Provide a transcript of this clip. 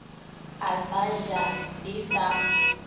a sa ja di sa